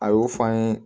A y'o fɔ an ye